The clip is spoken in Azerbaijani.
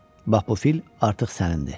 Bax bu fil artıq sənindir.